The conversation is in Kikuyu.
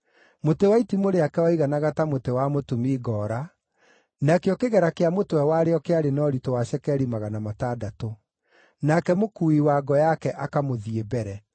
Mũtĩ wa itimũ rĩake waiganaga ta mũtĩ wa mũtumi ngoora, nakĩo kĩgera kĩa mũtwe warĩo kĩarĩ na ũritũ wa cekeri magana matandatũ. Nake mũkuui wa ngo yake akamũthiĩ mbere.